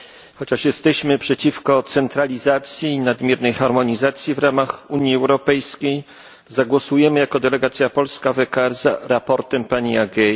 Chociaż jesteśmy przeciwko centralizacji i nadmiernej harmonizacji w ramach Unii Europejskiej, zagłosujemy jako delegacja polska w ECR za sprawozdaniem pani Agei.